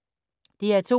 DR2